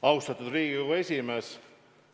Austatud Riigikogu esimees!